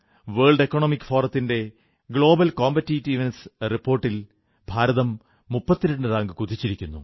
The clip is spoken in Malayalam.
വേൾഡ് എക്കണോമിക് ഫോറത്തിന്റെ ഗ്ലോബൽ കോംപറ്റീറ്റീവ്നെസ് റിപ്പോർട്ടിൽ ഭാരതം 32 റാങ്ക് കുതിച്ചിരിക്കുന്നു